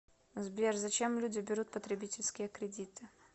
сбер зачем люди берут потребительские кредиты